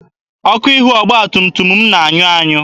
Ọkụ ihu ọgba tum tum m na-anyụ anyụ.